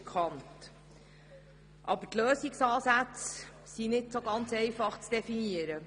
Aber die Lösungsansätze sind nicht ganz einfach zu definieren.